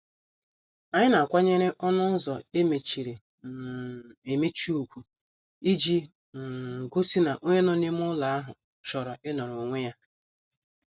Anyị na- akwanyere ọnụ ụzọ emechiri um emechi ugwu iji um gosi na onye nọ n' ime ụlọ ahụ chọrọ inoro onwe ya.